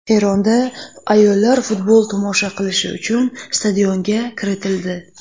Eronda ayollar futbol tomosha qilishi uchun stadionga kiritildi.